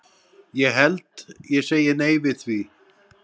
Ég held ég segi nei við því.